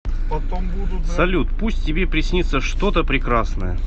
салют пусть тебе приснится что то прекрасное